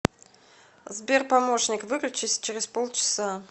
сбер помощник выключись через пол часа